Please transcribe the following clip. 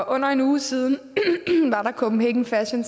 under en uge siden var der copenhagen fashion